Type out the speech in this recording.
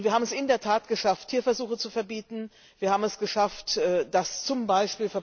Wir haben es in der Tat geschafft, Tierversuche zu verbieten. Wir haben es geschafft, dass z. B.